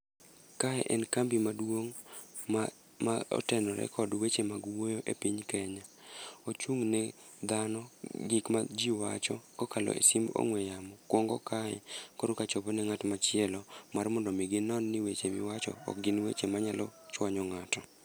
Kae en kambi maduong' ma ma otenore kod weche mag wuoyo e piny Kenya. Ochung' ne dhano, gik ma ji wacho kokalo e sim ong'we yamo, kwongo kae korka chopo ne ng'at machielo. Mar mondo mi ginon ni weche miwacho ok gin weche ma nyalo chwanyo ng'ato.